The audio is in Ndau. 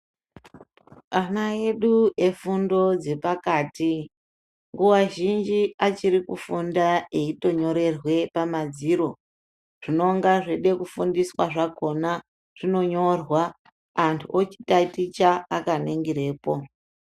Ana edu efundo dzepakati nguwa zhinji achiri kufunda eitonyorerwe pamadziro zvinonga zveide kufundiswa zvakona zvinonyorwa anthu ochitaticha akaningirepo.